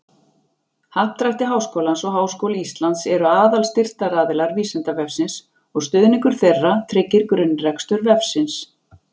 Happdrætti Háskólans og Háskóli Íslands eru aðalstyrktaraðilar Vísindavefsins og stuðningur þeirra tryggir grunnrekstur vefsins.